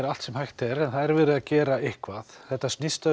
allt sem hægt er en það er verið að gera eitthvað snýst um